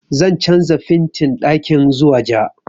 Zan canja fentin ɗakin zuwa ja